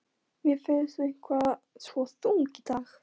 Mér finnst þú eitthvað svo þung í dag.